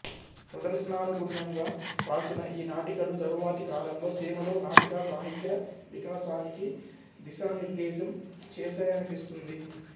ప్రదర్శనానుగుణ్యంగా రాసిన ఈ నాటికలు తరువాతి కాలంలో సీమలో నాటికా సాహిత్య వికాసానికి దిశానిర్దేశం చేశాయనిపిస్తుంది